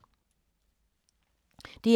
DR K